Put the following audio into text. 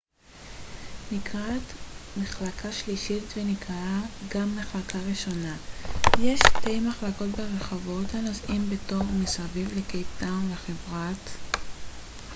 לחברת metrorail יש שתי מחלקות ברכבות הנוסעים בתוך ומסביב לקייפ טאון: metroplus נקראת גם מחלקה ראשונה ו- metro נקראת מחלקה שלישית